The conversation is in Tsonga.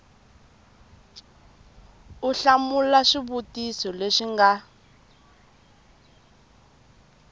u hlamula swivutiso leswi nga